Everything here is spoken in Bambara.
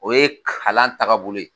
O ye kalan taga bolo ye.